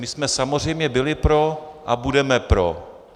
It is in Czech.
My jsme samozřejmě byli pro a budeme pro.